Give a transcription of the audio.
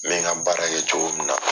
n bɛ ka baara kɛ cogo min na.